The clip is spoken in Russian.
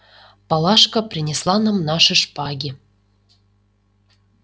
палашка принесла нам наши шпаги